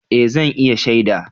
Eh, zan iya shaida.